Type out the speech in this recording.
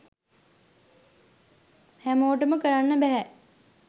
හැමෝටම කරන්න බැහැ.